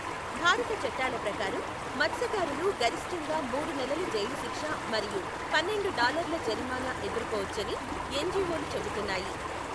భారత చట్టాల ప్రకారం, మత్స్యకారులు గరిష్టంగా మూడు నెలల జైలు శిక్ష మరియు పన్నెండు డాలర్లు జరిమానా ఎదుర్కోవచ్చని ఎన్జీఓలు చెబుతున్నాయి.